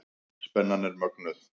Spennan er mögnuð.